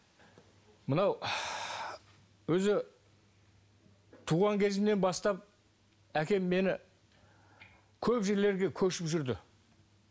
мынау өзі туған кезімнен бастап әкем мені көп жерлерге көшіп жүрді